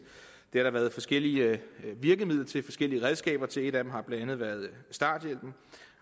det har der været forskellige virkemidler forskellige redskaber til et af dem har blandt andet været starthjælpen